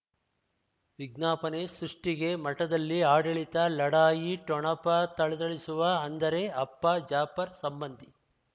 ವಿಜ್ಞಾಪನೆ ಸೃಷ್ಟಿಗೆ ಮಠದಲ್ಲಿ ಆಡಳಿತ ಲಢಾಯಿ ಠೊಣಪ ಥಳಥಳಿಸುವ ಅಂದರೆ ಅಪ್ಪ ಜಾಫರ್ ಸಂಬಂಧಿ